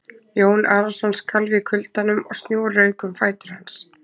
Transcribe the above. Jón Arason skalf í kuldanum og snjór rauk um fætur hans.